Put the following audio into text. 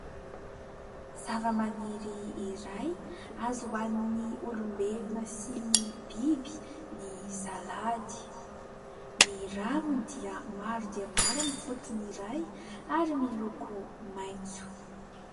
Zava-maniry iray azo hoanin'ny olombelona sy ny biby ny Salady. Ny raviny dia maro dia maro amin'ny fotony iray ary miloko maintso.